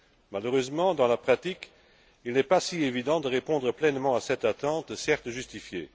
Malheureusement, dans la pratique, il n'est pas si évident de répondre pleinement à cette attente, certes justifiée.